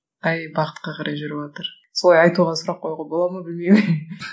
қай бағытқа қарай жүріватыр солай айтуға сұрақ қоюға бола ма білмеймін